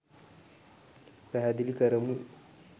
පැහැදිලි කරමු.